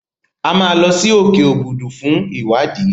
A máa lọ sí òkè Òbùdù fún ìwádìí.